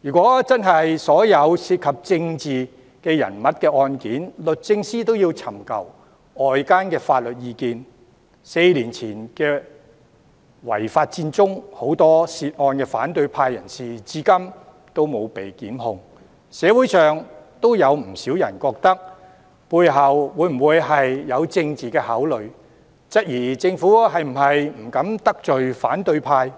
如果所有涉及政治人物的案件，律政司也要尋求外間法律意見，在4年前的違法佔中案，有很多涉案的反對派人士至今也沒有被檢控，社會上也有不少人懷疑背後是否有政治考慮，質疑政府是否不敢得罪反對派、